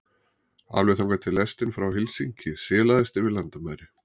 Alveg þangað til lestin frá Helsinki silaðist yfir landamæri